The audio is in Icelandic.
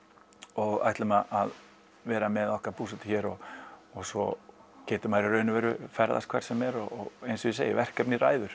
og ætlum að vera með okkar búsetu hér og svo getur maður í raun og veru ferðast hvert sem er og eins og ég segi verkefnið ræður